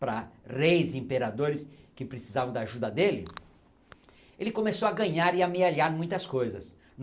para reis e imperadores que precisavam da ajuda dele, ele começou a ganhar e amealhar muitas coisas.